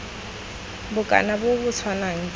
bokana bo bo tshwanang jwa